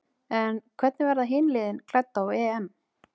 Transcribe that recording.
En hvernig verða hin liðin klædd á EM?